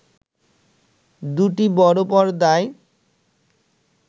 দুটি বড় পর্দায়